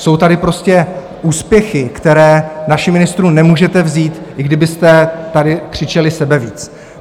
Jsou tady prostě úspěchy, které našim ministrům nemůžete vzít, i kdybyste tady křičeli sebevíc.